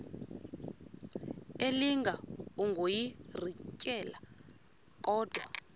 elinga ukuyirintyela kodwa